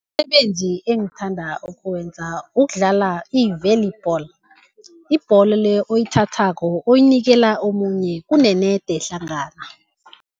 Umsebenzi engithanda ukuwenza ukudlala i-Volleyball. Yibholo le oyithathako, oyinikela omunye kunenede hlangana.